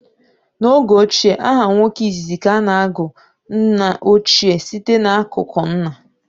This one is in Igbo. N' oge gboo, aha nwoke izizi ka a na-agụ nnaochie site n'akụkụ nna.